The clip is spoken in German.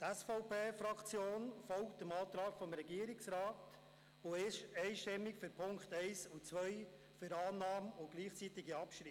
Die SVP-Fraktion folgt dem Antrag des Regierungsrats und stellt sich einstimmig hinter die Punkte 1 und 2 bei gleichzeitiger Abschreibung.